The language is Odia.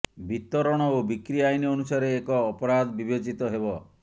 ବିତରଣ ଓ ବିକ୍ରି ଆଇନ ଅନୁସାରେ ଏକ ଅପରାଧ ବିବେଚିତ ହେବ